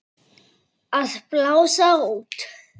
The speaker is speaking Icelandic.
Að blása út.